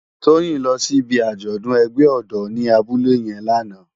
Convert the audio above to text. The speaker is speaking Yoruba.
Toyin lò si ibi ájòdùn ègbè òdò ni àbúlé yèn làná